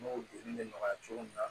N'o degun bɛ nɔgɔya cogo min na